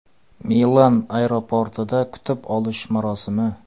Milan aeroportida kutib olish marosimi.